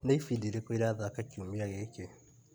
Nĩ ibindi irĩkũ irathaka kiumia gĩkĩ .